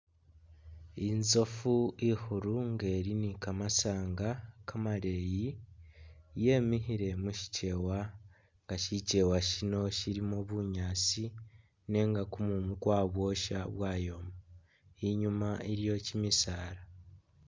Inzofu i khulu nga ili ni kamasanga kamaleyi yemikhile mushikyewa nga shikyewa shino shilimo bunyaasi nenga kumumu kwa bwosha bwayoma, inyuma iliyo kyimisaala.